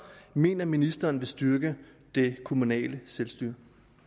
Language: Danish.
mener ministeren vil styrke det kommunale selvstyre